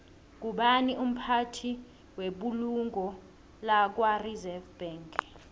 ngubani umphathi webulungo lakwareserve bank